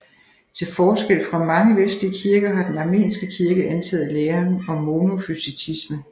Til forskel fra mange vestlige kirker har den armenske kirke antaget læren om monofysitisme